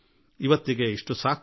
ಇಂದು ಇಷ್ಟೇ ಸಾಕು